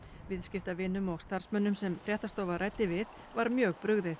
viðskiptavinum og starfsmönnum sem fréttastofa ræddi við var mjög brugðið